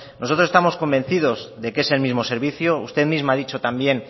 nosotros estamos convencidos de que es el mismo servicio usted misma ha dicho también